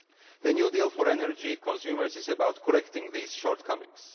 The New Deal for Energy Consumers is about correcting these shortcomings.